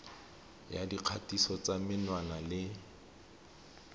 ya dikgatiso tsa menwana le